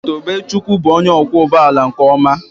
Tobechukwu bụ onye ọkwọ ụgbọ ala nke ọma